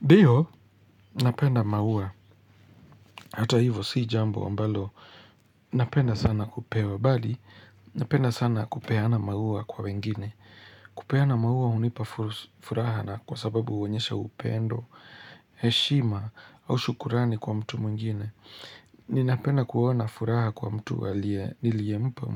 Ndio, napenda maua. Hata hivo, si jambo ambalo. Napenda sana kupewa bali. Napenda sana kupeana maua kwa wengine. Kupeana maua hunipa furaha na kwa sababu huonyesha upendo, heshima, au shukurani kwa mtu mwingine. Ninapenda kuona furaha kwa mtu aliye niliyempa